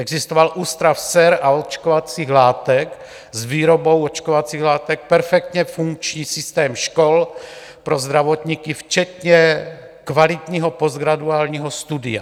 Existoval Ústav sér a očkovacích látek s výrobou očkovacích látek, perfektně funkční systém škol pro zdravotníky včetně kvalitního postgraduálního studia.